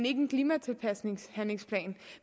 en klimatilpasningshandlingsplan